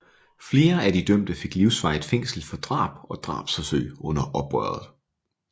Flere af de dømte fik livsvarigt fængsel for drab og drabsforsøg under opgøret